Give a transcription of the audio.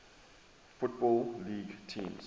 football league teams